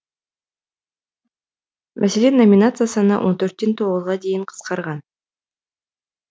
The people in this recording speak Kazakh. мәселен номинация саны он төрттен тоғызға дейін қысқарған